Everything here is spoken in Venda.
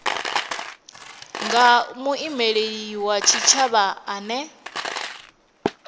nga muimeli wa tshitshavha ane